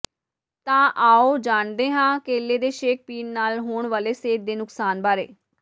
ਤਾਂ ਆਓ ਜਾਣਦੇ ਹਾਂ ਕੇਲੇ ਦੇ ਸ਼ੇਕ ਪੀਣ ਨਾਲ ਹੋਣ ਵਾਲੇ ਸਿਹਤ ਦੇ ਨੁਕਸਾਨ ਬਾਰੇ